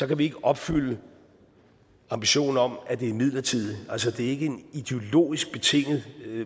kan vi ikke opfylde ambitionen om at det er midlertidigt altså det er ikke en ideologisk betinget